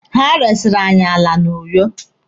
Ha resiri anyị ala na Uyo.